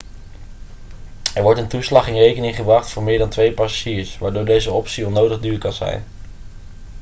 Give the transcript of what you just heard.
er wordt een toeslag in rekening gebracht voor meer dan 2 passagiers waardoor deze optie onnodig duur kan zijn